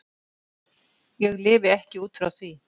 Ég lifi ekki út frá því.